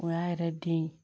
O y'a yɛrɛ den ye